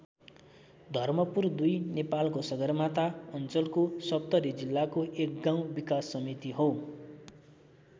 धर्मपुर २ नेपालको सगरमाथा अञ्चलको सप्तरी जिल्लाको एक गाउँ विकास समिति हो।